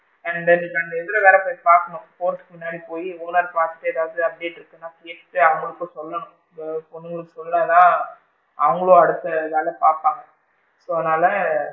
And then நான் இந்த இதுல வேற போய் பாக்கணும் போறதுக்கு முன்னாடி போயி owner ற பாத்துட்டு ஏதாவது update இருக்கான்னு கேட்டுட்டு அவுங்களுக்கும் சொல்லணும் அப்பறம் அந்த பொண்ணுங்களுக்கு சொல்லலைனா அவுங்களும் அடுத்த வேலை பாப்பாங்க so அதனால,